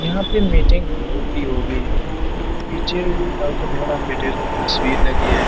यहाँ पे मीटिंग होती होगी। पीछे बाबा साहेब अम्बेडकर की तस्वीर लगी है।